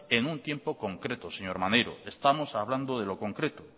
en un tiempo concreto señor maneiro estamos hablando de lo concreto